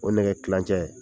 O nɛgɛ tilancɛ